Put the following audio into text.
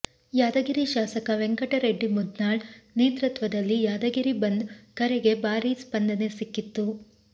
ಯಾದಗಿರಿ ಶಾಸಕ ವೆಂಕಟರೆಡ್ಡಿ ಮುದ್ನಾಳ್ ನೇತೃತ್ವದಲ್ಲಿ ಯಾದಗಿರಿ ಬಂದ್ ಕರೆಗೆ ಭಾರಿ ಸ್ಪಂದನೆ ಸಿಕ್ಕಿತ್ತು